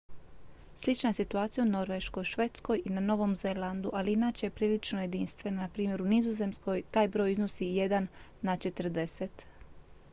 slična je situacija u norveškoj švedskoj i na novom zelandu ali inače je prilično jedinstvena npr. u nizozemskoj taj broj iznosi jedan na četrdeset